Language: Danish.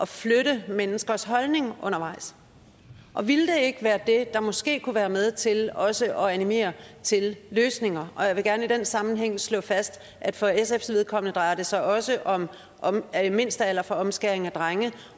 flytte menneskers holdning undervejs og ville det ikke være det der måske kunne være med til også at animere til løsninger jeg vil gerne i den sammenhæng slå fast at for sfs vedkommende drejer det sig også om om en mindstealder for omskæring af drenge